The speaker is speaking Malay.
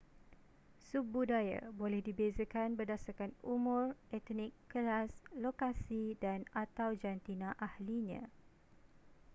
subbudaya boleh dibezakan berdasarkan umur etnik kelas lokasi dan/atau jantina ahlinya